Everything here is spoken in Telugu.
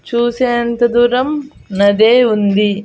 చూసేంత దూరం నదే ఉంది.